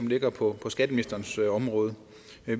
ligger på skatteministerens område